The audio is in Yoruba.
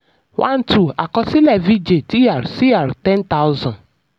one two: àkọsílẹ̀ vijay dr cr ten thousand.